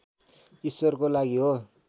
ईश्वरको लागि हो